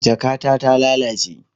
Jakata ta lalace